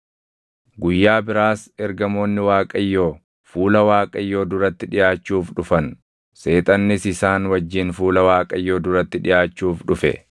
Guyyaa biraas ergamoonni Waaqayyoo fuula Waaqayyoo duratti dhiʼaachuuf dhufan; Seexannis isaan wajjin fuula Waaqayyoo duratti dhiʼaachuuf dhufe.